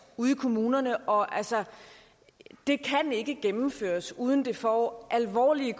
ude i kommunerne og det kan altså ikke gennemføres uden det får alvorlige